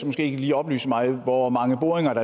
måske lige oplyse mig om hvor mange boringer